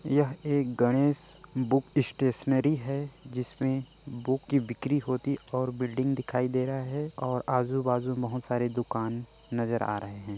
यह एक Ganesh book stationery है जिसमें बुक की बिक्री होती और बिल्डिंग दिखाई दे रहा है और आजू- बाजू बहुत सारे दुकान नज़र आ रहे है।